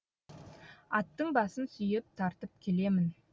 аттың басын сүйеп тартып келемін